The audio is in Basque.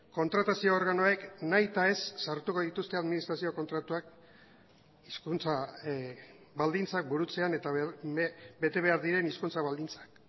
kontratazio organoek nahitaez sartuko dituzte administrazio kontratuak hizkuntza baldintzak burutzean eta betebehar diren hizkuntza baldintzak